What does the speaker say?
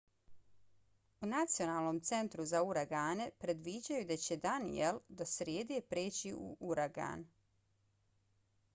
u nacionalnom centru za uragane predviđaju da će danielle do srijede preći u uragan